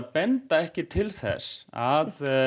benda ekki til þess að